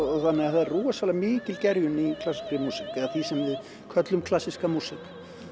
þannig að það er rosalega mikil gerjun í klassískri músík eða því sem við köllum klassíska músík